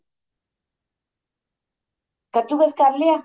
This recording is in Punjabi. ਕਦੂ ਕਸ ਕਰ ਲਿਆ